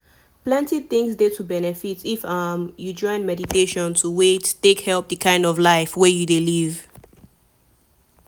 plenty things dey to benefit if um you join meditation to wait - take help the kind of life wey you dey live